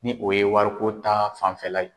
Ni o ye wariko ta fanfɛla ye.